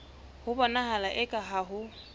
ho bonahala eka ha ho